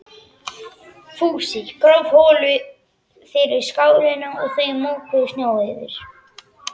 Fúsi gróf holu fyrir skálina og þau mokuðu snjó yfir.